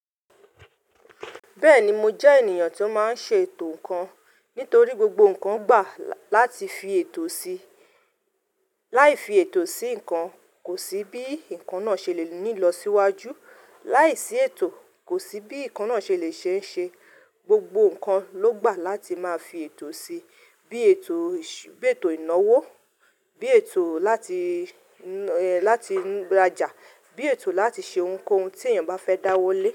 Bẹ́ẹ̀ni mo jẹ́ ènìyàn tí ó máa ń ṣe ètò ǹkan. Nítorí gbogbo ǹkan gbà láti fi ètò sí. Láì fi ètò sí ǹkan, kò sí bí ǹkan náà ṣe le ní lọ síwájú. Láìsí ètò, kò sí bí ǹkan náà ṣe le ṣe ṣe. Gbogbo ǹkan ló gbà láti máa fi ètò si. Bí ètò ìnáwó, bí ètò láti, láti rajà, bí ètò láti ṣe ohunkóhun tí èèyàn bá fẹ́ dáwólé.